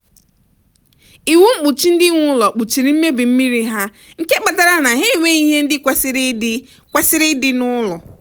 iwu mkpuchi ndị nwe ụlọ kpuchiri mmebi mmiri ha nke kpatara na ha enweghị ihe ndị kwesịrị ịdị kwesịrị ịdị n'ụlọ